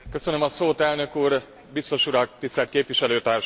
Elnök úr, biztos urak, tisztelt képviselőtársaim!